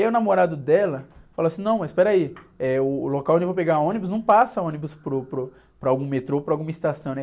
E aí o namorado dela falou assim, não, mas espera aí, eh, o, o local onde eu vou pegar ônibus não passa ônibus para o, para o, para algum metrô, para alguma estação, né?